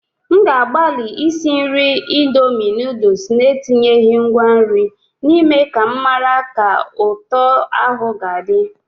M ga-agbalị isi nri indomie noodles na-etinyeghị ngwa nri n'ime ka m mara ka ụtọ ahụ ga-adị.